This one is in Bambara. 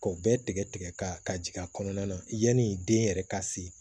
K'o bɛɛ tigɛ tigɛ ka jigin a kɔnɔna na yani den yɛrɛ ka se